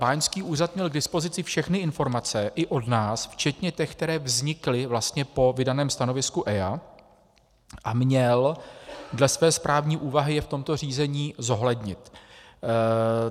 Báňský úřad měl k dispozici všechny informace, i od nás, včetně těch, které vznikly vlastně po vydaném stanovisku EIA, a měl dle své správní úvahy je v tomto řízení zohlednit.